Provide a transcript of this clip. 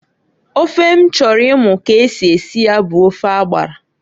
Ofe m chọrọ imu ka esi esi ya bu ofe agbara.